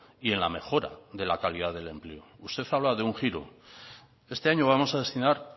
y en la mejora de la calidad del empleo usted habla de un giro este año vamos a destinar